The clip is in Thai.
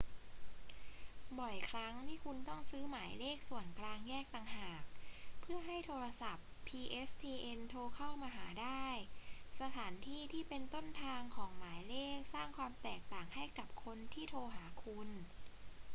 บ่อยครั้งที่คุณต้องซื้อหมายเลขส่วนกลางแยกต่างหาก เพื่อให้โทรศัพท์ pstn โทรเข้ามาหาได้ สถานที่ที่เป็นต้นทางของหมายเลขสร้างความแตกต่างให้กับคนที่โทรหาคุณ